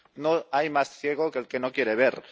No hay más ciego que el que no quiere ver.